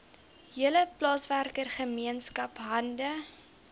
hele plaaswerkergemeenskap hande